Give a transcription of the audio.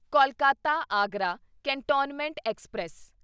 Kolkata Agra cantonment express